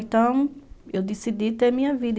Então, eu decidi ter minha vida.